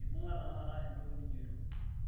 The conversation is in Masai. eibunga tenakata entoki nijoito